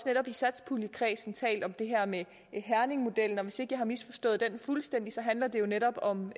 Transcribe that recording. netop i satspuljekredsen talt om det her med herningmodellen og hvis ikke jeg har misforstået den fuldstændig handler den netop om